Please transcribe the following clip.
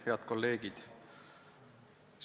Head kolleegid!